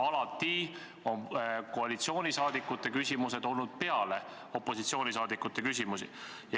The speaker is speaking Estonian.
Alati on koalitsiooni küsimused olnud peale opositsiooniliikmete küsimusi.